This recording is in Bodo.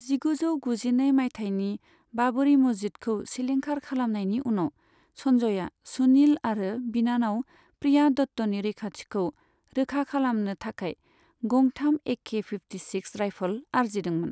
जिगुजौ गुजिनै मायथाइनि बाबरि मस्जिदखौ सिलिंखार खालामनायनि उनाव, सनजयआ सुनिल आरो बिनानाव प्रिया दत्तनि रैखाथिखौ रोखा खालामनो थाखाय गंथाम एके फिफ्टि सिक्स राइफल आरजिदोंमोन।